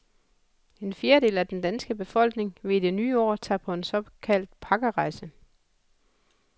En fjerdedel af den danske befolkning vil i det nye år tage på en såkaldt pakkerejse.